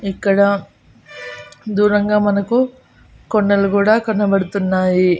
ఇక్కడ దూరంగా మనకు కొండలు కూడా కనబడుతున్నాయి.